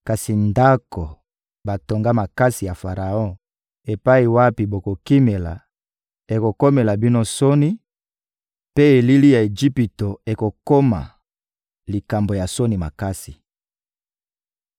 Kasi ndako batonga makasi ya Faraon epai wapi bokokimela ekokomela bino soni, mpe elili ya Ejipito ekokoma likambo ya soni makasi.